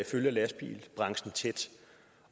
følger lastbilbranchen tæt